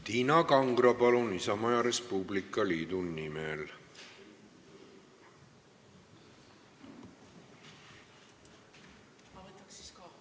Tiina Kangro Isamaa ja Res Publica Liidu nimel, palun!